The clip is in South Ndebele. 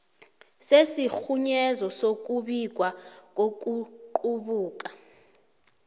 sesirhunyezo sokubikwa kokuqubuka